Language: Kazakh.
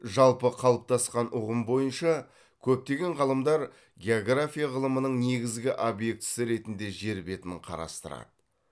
жалпы қалыптасқан ұғым бойынша көптеген ғалымдар география ғылымының негізгі обьектісі ретінде жер бетін қарастырады